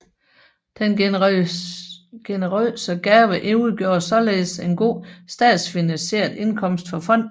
Den generøse gave udgjorde således en god statsfinansieret indkomst for fonden